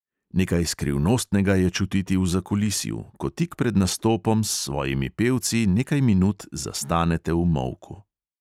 Nekaj skrivnostnega je čutiti v zakulisju, ko tik pred nastopom s svojimi pevci nekaj minut zastanete v molku.